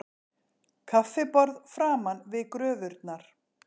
Kaffiborð framan við gröfurnar